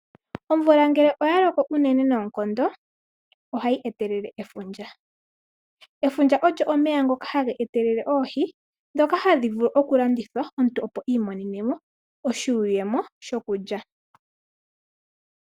Omvula ngele oya loko unene noonkondo, ohayi etelele efundja. Efundja ogo omeya ngoka haga etelele oohi, ndhoka hadhi landithwa opo omuntu iimonene mo iiyemo yokulya.